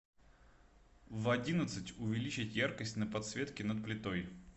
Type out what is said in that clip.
в одиннадцать увеличить яркость на подсветке над плитой